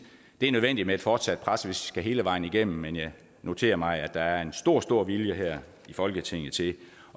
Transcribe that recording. det er nødvendigt med et fortsat pres hvis vi skal hele vejen igennem men jeg noterer mig at der er en stor stor vilje her i folketinget til